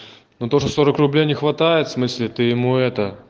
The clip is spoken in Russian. ну тоже сорок рублей не хватает смысле ты ему и